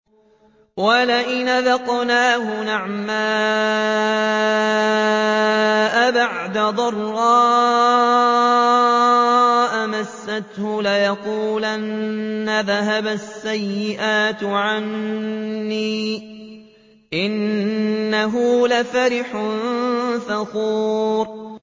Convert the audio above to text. وَلَئِنْ أَذَقْنَاهُ نَعْمَاءَ بَعْدَ ضَرَّاءَ مَسَّتْهُ لَيَقُولَنَّ ذَهَبَ السَّيِّئَاتُ عَنِّي ۚ إِنَّهُ لَفَرِحٌ فَخُورٌ